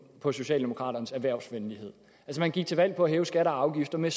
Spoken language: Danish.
på socialdemokraternes erhvervsvenlighed man gik til valg på at hæve skatter og afgifter med